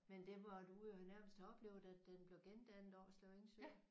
Men det må du nærmest have oplevet da den blev gendannet Årslev Engsø?